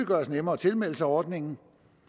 gøres nemmere at tilmelde sig ordningen